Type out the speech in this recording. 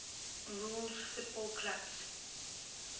rules football clubs